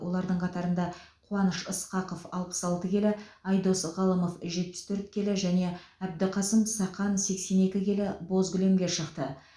олардың қатарында қуаныш ысқақов алпыс алты келі айдос ғалымов жетпіс төрт келі және әбдіқасым сахан сексен екі келі боз кілемге шықты